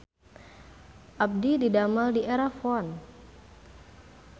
Abdi didamel di Erafone